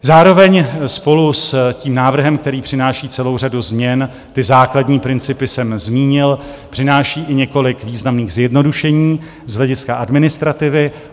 Zároveň spolu s tím návrhem, který přináší celou řadu změn - ty základní principy jsem zmínil - přinášíme i několik významných zjednodušení z hlediska administrativy.